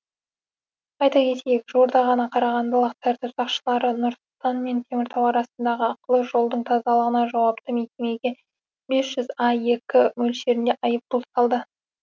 айта кетейік жуырда ғана қарағандылық тәртіп сақшылары нұр сұлтан мен теміртау арасындағы ақылы жолдың тазалығына жауапты мекемеге бес аек мөлшерінде айыппұл салды